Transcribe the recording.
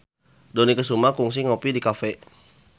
Dony Kesuma kungsi ngopi di cafe